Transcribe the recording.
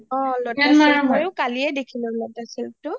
অ মইয়ো কালিয়ে দেখিলোঁ lotus silk টো